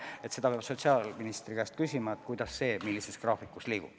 Terviseameti juhi kohta peab sotsiaalministri käest küsima, kuidas, millises graafikus asi liigub.